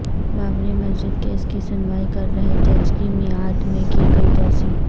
Babri Masjid case کی سنوائی کررہے جج کی معیاد میں کی گئی توسیع